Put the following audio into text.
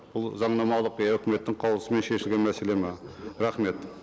бұл заңнамалық я өкіметтің қаулысымен шешілген мәселе ме рахмет